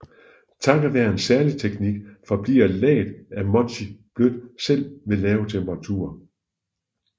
Takket være en særlig teknik forbliver laget af mochi blødt selv ved lave temperaturer